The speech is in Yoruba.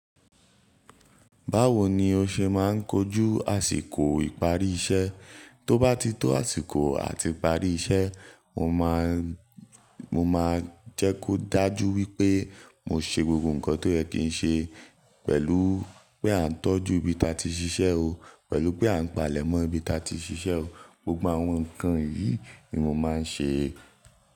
Báwo ni o ṣe máa ń kojú àsìkò ìparí iṣẹ́? Tó bá ti tó àsìkò àti parí iṣẹ́, mo máa, mo máa jẹ́ kó dájú wípé mo ṣe gbogbo ǹkan tó yẹ ki ń ṣe pẹ̀lú pé a ń tọ́jú ibi ta ti ṣiṣẹ́ o, pẹ̀lú pé a ń pàlẹ̀mọ́ ibi ta ti ṣiṣẹ́ o. Gbogbo àwọn ǹkan yìí ni mo máa ń ṣe.